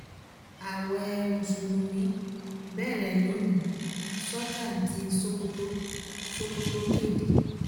ààwẹ̀ mùsùlùmí bẹ̀rẹ̀ lónìí sultan tí sokoto sokoto kéde